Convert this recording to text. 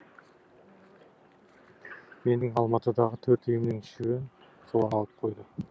менің алматыдағы төрт үйімнің үшеуін солар алып қойды